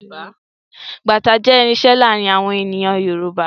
Bàtá jẹ́ irinṣẹ́ láàárín àwọn ènìyàn Yorùbá